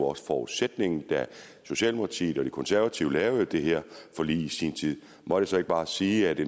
også forudsætningen da socialdemokratiet og de konservative lavede det her forlig i sin tid må jeg så ikke bare sige at det